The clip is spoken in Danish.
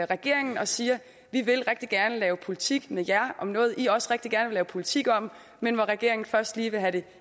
regeringen og siger vi vil rigtig gerne lave politik med jer om noget i også rigtig gerne vil lave politik om men regeringen vil først lige have det